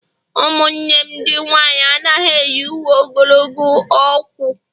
umunne m ndi nwanyi anaghi eyi uwe ogologo ọkwu